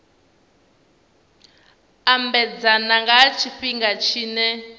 ambedzana nga ha tshifhinga tshine